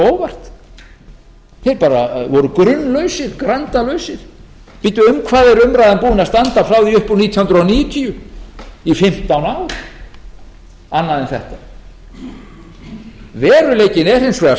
óvart þeir bara voru grunlausir grandalausir bíddu um hvað er umræðan búin að standa frá því upp úr nítján hundruð níutíu í fimmtán ár annað en þetta veruleikinn er hins vegar